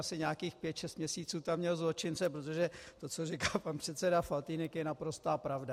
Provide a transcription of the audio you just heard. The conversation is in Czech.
- asi nějakých pět šest měsíců tam měl zločince, protože to, co říká pan předseda Faltýnek je naprostá pravda.